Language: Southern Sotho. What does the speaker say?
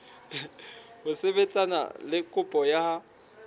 ho sebetsana le kopo ya